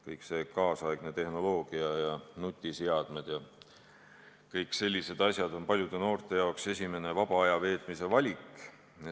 Kogu see kaasaegne tehnoloogia – nutiseadmed ja kõik muud sellised asjad – on paljude noorte jaoks esimene vaba aja veetmise valik.